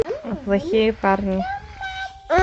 плохие парни